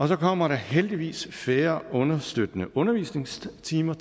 så kommer der heldigvis færre understøttende undervisningstimer